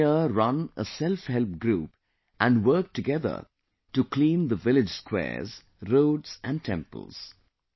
The women here run a selfhelp group and work together to clean the village squares, roads and temples